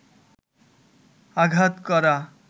আঘাত করা